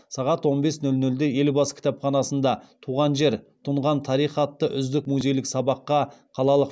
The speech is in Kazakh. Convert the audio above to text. сағат он бес нөл нөлде елбасы кітапханасында туған жер тұнған тарих атты үздік музейлік сабаққа